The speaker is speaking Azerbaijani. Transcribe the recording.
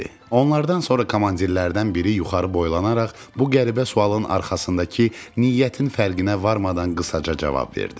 Onlardan sonra komandirlərdən biri yuxarı boylanaraq bu qəribə sualın arxasındakı niyyətin fərqinə varmadan qısaca cavab verdi.